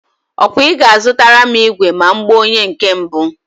Ọ kwa I ga-azutara m igwe ma m gbaa onye nke mbụ?